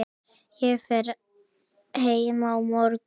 Ég fer heim á morgun.